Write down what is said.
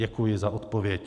Děkuji za odpověď.